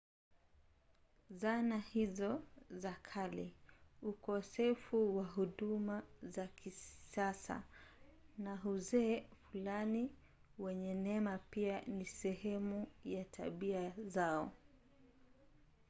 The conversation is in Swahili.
zana hizo za kale ukosefu wa huduma za kisasa na uzee fulani wenye neema pia ni sehemu ya tabia zao